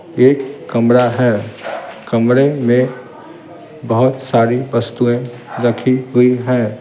एक कमरा है कमरे में बहुत सारी वस्तुएं रखी हुई हैं ।